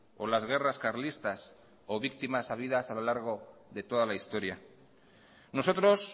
o las guerras carlistas o víctimas habidas a lo largo de toda la historia nosotros